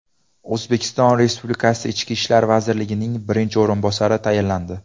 O‘zbekiston Respublikasi Ichki ishlar vazirining birinchi o‘rinbosari tayinlandi.